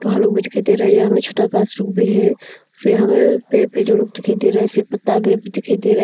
गाछ रुख भी है फिर हमे पेड़ पे दो लोग दिखाई दे रहा फिर पत्ता गिर भी दिखाई दे रहा--